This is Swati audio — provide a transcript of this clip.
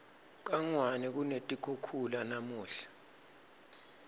kangwane kunetikhukhula namunla